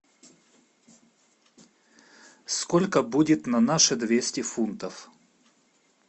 сколько будет на наши двести фунтов